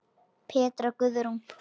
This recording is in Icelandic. Petra Guðrún.